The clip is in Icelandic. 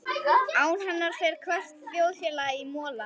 Án hennar fer hvert þjóðfélag í mola.